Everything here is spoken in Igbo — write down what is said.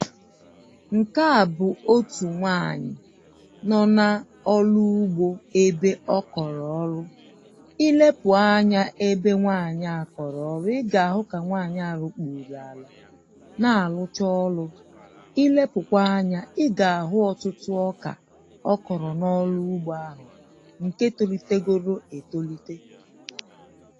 Nke a bụ̀ otū nwaanyị̀ nọ na ọlụ ugbo ebe ọ kọlụ ọlụ ilepuo anya na ebe nwaanyị à ọrọrụ ị ga-ahụ ka nwaanyị a lukpulu a na alụcha ọlụ ilepukwa anya ị ga-ahụ ọtụtụ ọkà ọ kọrọ na ọlụ ugbo ahụ nke tolitegoro etolite